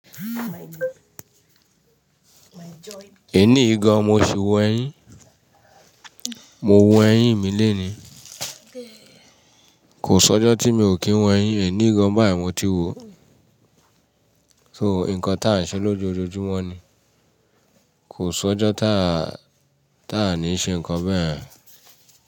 Èní yìgan, mo ṣi wọ ẹyín, mo wọ ẹyín mi léèní, kò sọ́jọ́ tí mi ò kí ń wọ ẹyín, èní gan báyì mo tí wò ó, so nǹkan tí à ń ṣe lójoojúmọ́ ni, kò sọ́jọ́ táà ní ṣe nǹkan bẹ́ẹ̀